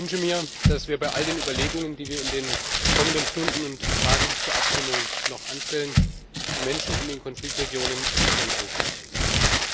Ich wünsche mir, dass wir bei all den Überlegungen, die wir in den kommenden Stunden und Tagen bis zur Abstimmung noch anstellen, die Menschen in den Konfliktregionen in unseren Fokus rücken.